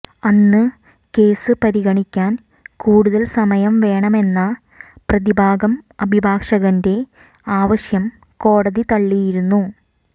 അന്ന് കേസ് പരിഗണിക്കാൻ കൂടുതൽ സമയം വേണമെന്ന പ്രതിഭാഗം അഭിഭാഷകന്റെ ആവശ്യം കോടതി തള്ളിയിരുന്നു